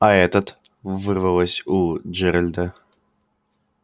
а этот вырвалось у джералда